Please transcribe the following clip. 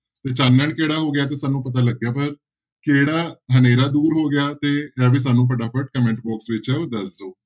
ਤੇ ਚਾਨਣ ਕਿਹੜਾ ਹੋ ਗਿਆ ਤੇ ਸਾਨੂੰ ਲੱਗਿਆ ਵੀ ਕਿਹੜਾ ਹਨੇਰਾ ਦੂਰ ਹੋ ਗਿਆ ਤੇ ਇਹ ਵੀ ਸਾਨੂੰ ਫਟਾਫਟ comment box ਵਿੱਚ ਹੈ ਉਹ ਦੱਸ ਦਓ।